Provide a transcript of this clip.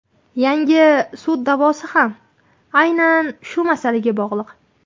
Yangi sud da’vosi ham aynan shu masalaga bog‘liq.